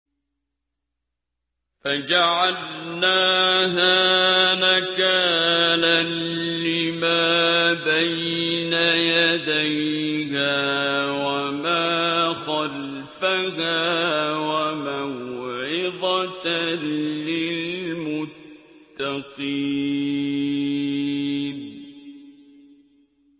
فَجَعَلْنَاهَا نَكَالًا لِّمَا بَيْنَ يَدَيْهَا وَمَا خَلْفَهَا وَمَوْعِظَةً لِّلْمُتَّقِينَ